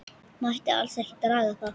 Mætti alls ekki draga það.